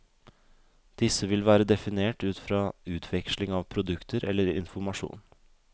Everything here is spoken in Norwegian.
Disse vil være definert ut fra utveksling av produkter eller informasjon.